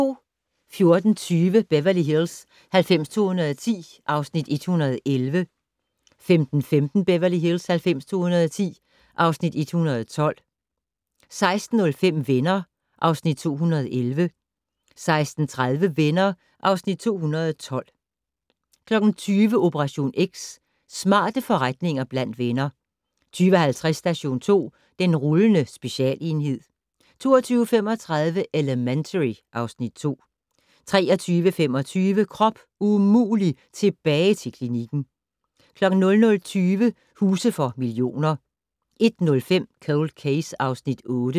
14:20: Beverly Hills 90210 (Afs. 111) 15:15: Beverly Hills 90210 (Afs. 112) 16:05: Venner (Afs. 211) 16:30: Venner (Afs. 212) 20:00: Operation X: Smarte forretninger blandt venner 20:50: Station 2: Den rullende specialenhed 22:35: Elementary (Afs. 2) 23:25: Krop umulig - tilbage til klinikken 00:20: Huse for millioner 01:05: Cold Case (Afs. 8)